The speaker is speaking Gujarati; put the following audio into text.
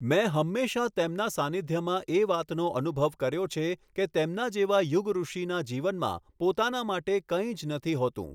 મેં હંમેશા તેમના સાનિધ્યમાં એ વાતનો અનુભવ કર્યો છે કે તેમના જેવા યુગઋષિના જીવનમાં પોતાના માટે કઈં જ નથી હોતું.